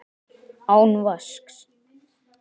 Án vasks.